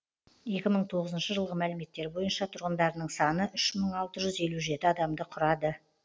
екі мың тоғызыншы жылғы мәліметтер бойынша тұрғындарының саны үш мың алты жүз елу жеті адамды құрады